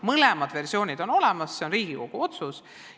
Mõlemad versioonid on olemas, see on Riigikogu otsus.